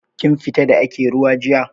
Kin fita da ake ruwa jiya?